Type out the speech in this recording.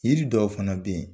Yiriri dɔw fana bɛ yen.